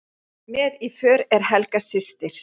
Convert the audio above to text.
Með í för er Helga systir